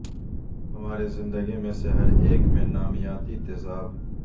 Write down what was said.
ہماری زندگی میں سے ہر ایک میں نامیاتی تیزاب